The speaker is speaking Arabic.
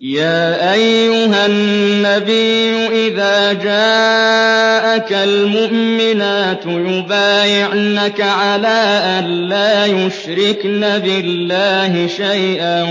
يَا أَيُّهَا النَّبِيُّ إِذَا جَاءَكَ الْمُؤْمِنَاتُ يُبَايِعْنَكَ عَلَىٰ أَن لَّا يُشْرِكْنَ بِاللَّهِ شَيْئًا